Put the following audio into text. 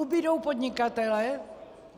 Ubudou podnikatelé?